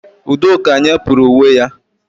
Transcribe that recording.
Udoka nyepurụ uwe ya